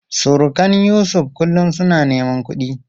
Surukan Yusuf kullum suna neman kudi.